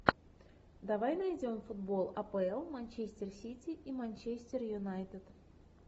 давай найдем футбол апл манчестер сити и манчестер юнайтед